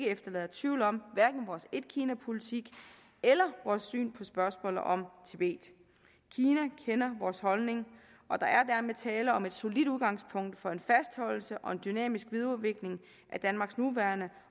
efterlader tvivl om vores etkinapolitik eller vores syn på spørgsmålet om tibet kina kender vores holdning og der er dermed tale om et solidt udgangspunkt for en fastholdelse og dynamisk videreudvikling af danmarks nuværende